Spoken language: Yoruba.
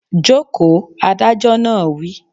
Joko! Adájọ́ náà wí